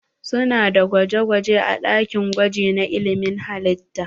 Su na da gwaje gwaje a ɗakin gwaji na ilmin halitta.